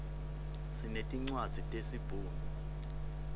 sinetincwadzi tesi bhunu